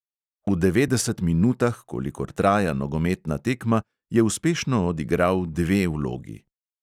V devetdeset minutah, kolikor traja nogometna tekma, je uspešno odigral dve vlogi.